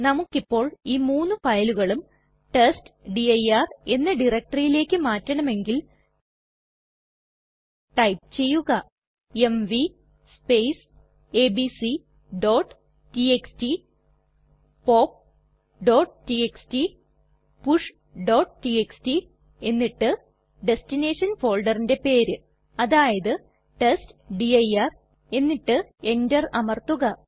നമുക്കിപ്പോൾ ഈ മൂന്നു ഫയലുകളും ടെസ്റ്റ്ഡിർ എന്ന ഡയറക്ടറിലേക്ക് മാറ്റണമെങ്കിൽ ടൈപ്പ് ചെയ്യുക എംവി abcടിഎക്സ്ടി popടിഎക്സ്ടി pushടിഎക്സ്ടി എന്നിട്ട് ദെസ്റ്റിനെഷൻ ഫോൾഡറിന്റെ പേര് അതായത് ടെസ്റ്റ്ഡിർ എന്നിട്ട് എന്റർ അമർത്തുക